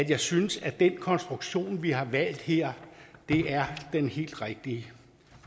jeg synes at den konstruktion vi har valgt her er den helt rigtige